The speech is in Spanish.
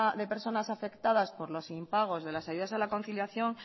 de personas afectadas por los impagos de las ayudas a la conciliación